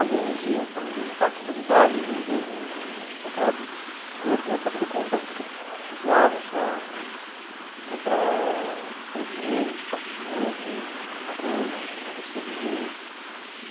Alguns iam para visitar a comunidade de judeus em em Petrópolis e outros iam para fazer compras, porque precisavam, sei lá, um comprar escova de dente, pasta de dente, alguma coisa, uma besteirinha.